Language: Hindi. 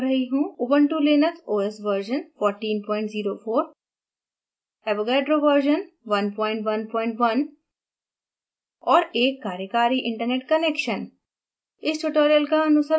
यहाँ मैं उपयोग कर रही हूँ ubuntu linux os version 1404 avogadro version 111 और एक कार्यकारी इंटरनेट कनेक्शन